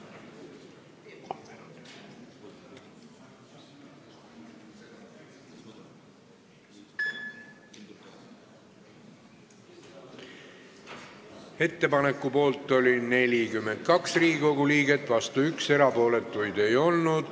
Hääletustulemused Ettepaneku poolt oli 42 Riigikogu liiget ja vastu 1, erapooletuid ei olnud.